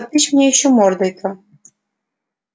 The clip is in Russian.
потычь мне ещё мордой то